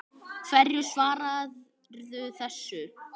Hverju svararðu þessu?